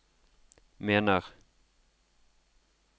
mener